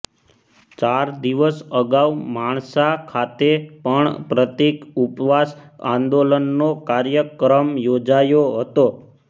ચાર દિવસ અગાઉ માણસા ખાતે પણ પ્રતિક ઉપવાસ આંદોલનનો કાર્યક્રમ યોજાયો હતો